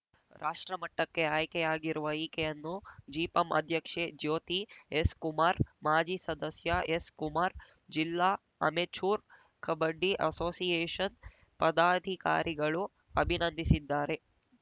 ರಾಷ್ಟ್ರಮಟ್ಟಕ್ಕೆ ಆಯ್ಕೆಯಾಗಿರುವ ಈಕೆಯನ್ನು ಜಿಪಂ ಅಧ್ಯಕ್ಷೆ ಜ್ಯೋತಿ ಎಸ್‌ ಕುಮಾರ್‌ ಮಾಜಿ ಸದಸ್ಯ ಎಸ್‌ ಕುಮಾರ್‌ ಜಿಲ್ಲಾ ಅಮೆಚೂರ್‌ ಕಬಡ್ಡಿ ಅಸೋಸಿಯೇಷನ್‌ ಪದಾಧಿಕಾರಿಗಳು ಅಭಿನಂದಿಸಿದ್ದಾರೆ